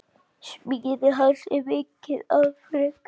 Smíði hans er mikið afrek.